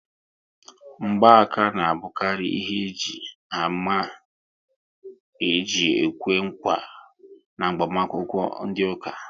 Ngba aka ná abukari ihe àmà eji ekwe nkwa n'agbamakwukwo ndị ụka